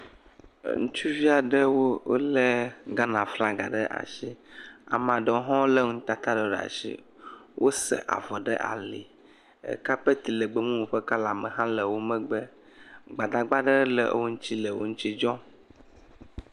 e ŋutsuviaɖewo le Ghana flaga ɖe asi amaɖewo hõ le ŋutata ɖewo ɖe asi wose avɔ ɖe ali kapet legbemowo ƒe kala me hã le wó megbe gbadagba ɖe hã le wó megbe le wó ŋtsi dzɔm